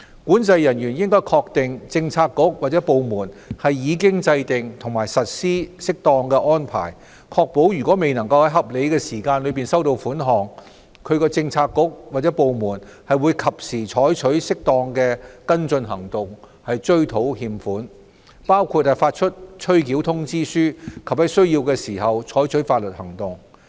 管制人員應確定政策局/部門已制訂及實施適當安排，確保如未能在合理時間內收到款項，其政策局/部門會及時採取適當的跟進行動追討欠款，包括發出催繳通知書及在需要時採取法律行動。